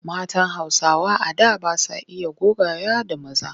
Matan Hausawa a da ba sa iya gogayya da maza.